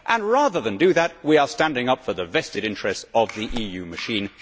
And rather than do that, we are standing up for the vested interests of the EU machine.